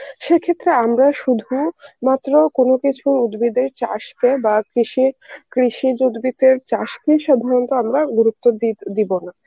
সে ক্ষেত্রে আমরা শুধু মাত্র কোনো কিছু উদ্ভিদের চাষকে বা কৃষি, কৃষিজ উদ্ভিদের চাষকেই সাধারণত আমরা গুরুত্ব দি~ দিব না.